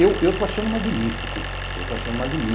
Eu eu estou achando magnífico, eu estou achando magnífico.